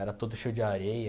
Era todo cheio de areia.